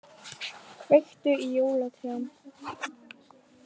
Kveiktu í jólatrjám